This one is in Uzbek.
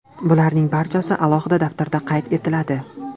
Bularning barchasi alohida daftarda qayd etiladi.